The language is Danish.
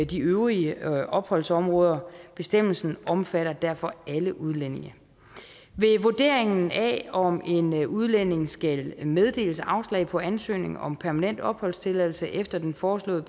de øvrige opholdsområder bestemmelsen omfatter derfor alle udlændinge ved vurderingen af om en udlænding skal meddeles afslag på ansøgning om permanent opholdstilladelse efter den foreslåede